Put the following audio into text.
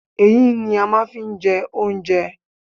Eyín ni a máa n fi n je oúnjẹ